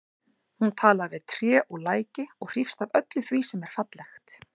Hún talar við tré og læki og hrífst af öllu því sem er fallegt.